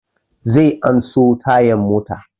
Zai an so tayan motan